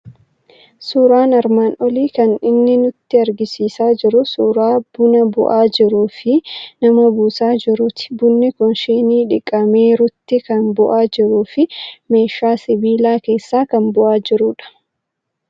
Suuraan armaan olii kan inni nutti argisiisaa jiru suuraa buna bu'aa jiruu fi nama buusaa jiruuti. Bunni kun shinii dhiqameerutti kan bu'aa jiruu fi meeshaa sibiila keessaa kan bu'aa jirudha.